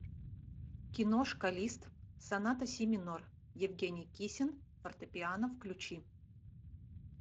киношка лист соната си минор евгений кисин фортепиано включи